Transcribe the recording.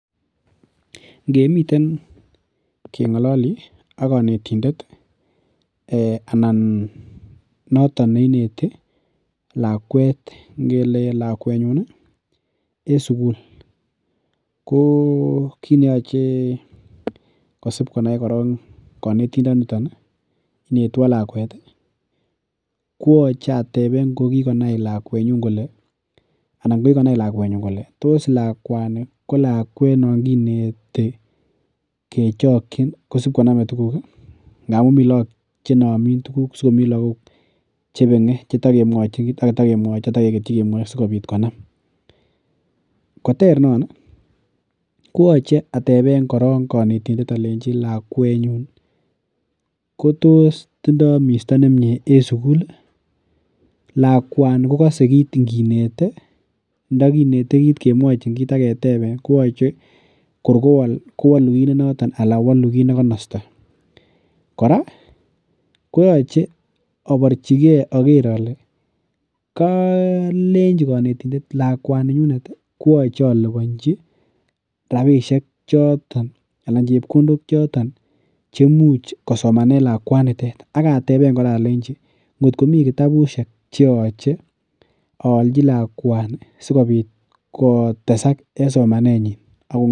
Ngemiten keng'ololii ak konetindet anan noton neineti lakwet ngele lakwet nyun ih en sukul ko kit neoche kosip konai korong konetindoniton ih inwtwon lakwet ih kooche ateben ngo kikonai lakwetnyun kole anan kikonai lakwetnyun kole tos lakwani ko lakwet non kineti kechokyin kosib konome tuguk ih ngamun mii lakok chenomin tuguk sikomii lakok chebeng'e chetokemwochin ak itakemwochi takeketyi kemwoi sikobit konam koter non ih koyoche ateben koron konetindet olenji lakwetnyun ko tos tindoo misto nemie en sukul ih? Lakwani kokose kit nginete ndokinete kit kemwochin kit ak keteben kooche kor kowol kowolu kit nenoton ana wolu kit nekonosto. Kora koyoche oborchigee oker ole kolenji konetindet lakwaninyunet kooche aliponji rapisiek choton anan chepkondok choton chemuch kosomanen lakwaniton ak ateben kora olenji ngot komii kitabusiek cheoche oolji lakwani sikobit kotesak en somanet nyin ako